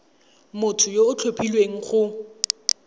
motho yo o tlhophilweng go